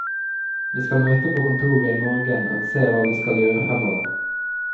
Vi skal møte på kontoret i morgen og se hva vi skal gjøre fremover.